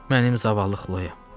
Mənim zavallı Xloyam.